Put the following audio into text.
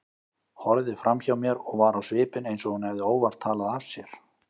Horfði framhjá mér og var á svipinn eins og hún hefði óvart talað af sér.